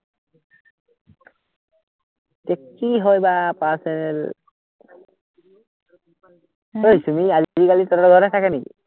তে কি হয় বা, personal চুমি আজিকালি তঁহতৰ ঘৰতে থাকে নেকি?